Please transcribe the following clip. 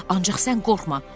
Ancaq sən qorxma.